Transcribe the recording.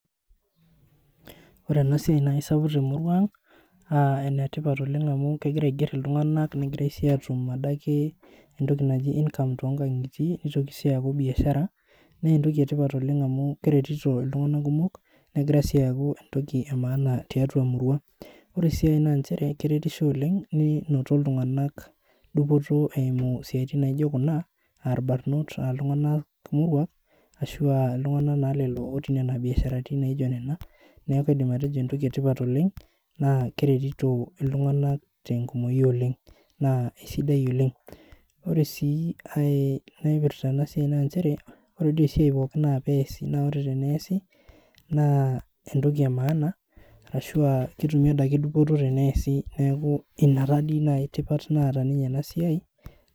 ore ena siai naa isapuk temurua ang naaenetipat oleng amu kegira aigerr iltunganak negirai sii aatum entoki naji [income]toonkangitie neitoki sii aaku biashara neentoki etipat keretito iltunganakan kumok nenoto iltunganak dupoto eimu isiaitin naijo kuna aa irbarnot iltunganak moruak ashu aa iltunganak ootii imbiasharani naijo nena niaku adim atejo entoki etipat oleng naa keretito iltunganak tenkumoi oleng naa isidai oleng ore sii ai naipirta ena siai naa njere ore doi esiai pooki na pee easi naa entoki emaana aashu aa ketumi adake dupoto teneesi niaku ina taanaji dupoto naata enasiai